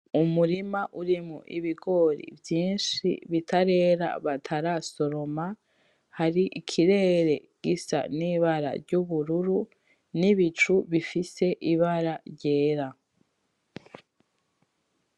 Umurima urimwo ibigori vyishi bitarera batarasoroma hari ikirere gisa n’ibara ry’ubururu n’ibicu bifise ibara ryera.